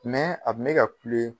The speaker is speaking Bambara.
a kun bɛ ka kule.